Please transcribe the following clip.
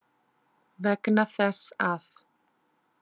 Vegna þess að.